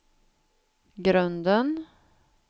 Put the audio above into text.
grunden